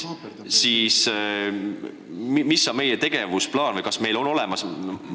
Mis on meie tegevusplaan või kas see on üldse olemas?